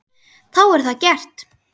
Þá er það gert.